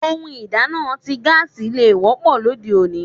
Ohun ìdáná ti gaasi ló wọ́pọ̀ lóde òní.